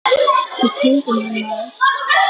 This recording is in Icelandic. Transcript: Í kringum hann maður.